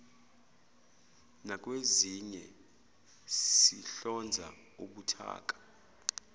nakwezinye sihlonza ubuthaka